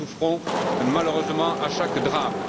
Nous en souffrons malheureusement à chaque drame.